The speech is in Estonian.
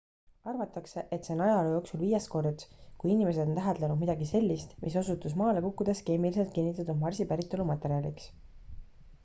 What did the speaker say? arvatakse et see on ajaloo jooksul viies kord kui inimesed on täheldanud midagi sellist mis osutus maale kukkudes keemiliselt kinnitatud marsi päritolu materjaliks